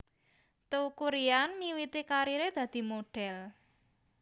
Teuku Ryan miwiti kariré dadi modhél